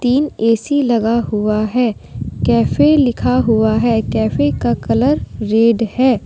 तीन ए_सी लगा हुआ है कैफै लिखा हुआ है कैफे का कलर रेड है।